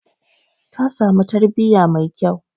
Ta samu tarbiyya mai kyau.